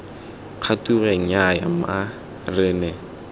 kgature nnyaya mma re ne